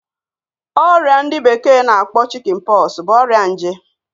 Oria ndi bekee na akpo Chickenpox bụ ọrịa nje